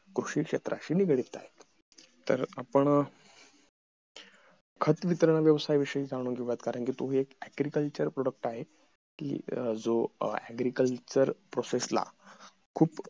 कृषी क्षेत्राशी निगडित आहेत खत वितरणाच्या व्यवसाय विषयी जाणून घेऊया कारण तो एक agriculture product आहे कि जो agriculture process ला खूप